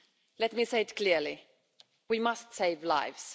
Let me say it clearly we must save lives.